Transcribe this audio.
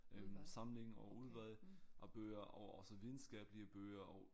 Øh samling og udvalg af bøger og også videnskabelige bøger og